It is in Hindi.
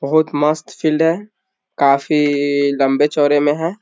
बहुत मस्त फील्ड है काफी इइ लंबे-चौड़े में है।